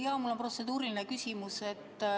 Jaa, mul on protseduuriline küsimus.